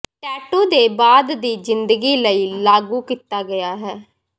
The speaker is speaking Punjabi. ਟੈਟੂ ਦੇ ਬਾਅਦ ਦੀ ਜ਼ਿੰਦਗੀ ਲਈ ਲਾਗੂ ਕੀਤਾ ਗਿਆ ਹੈ